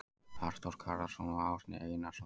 Arnþór Garðarsson og Árni Einarsson.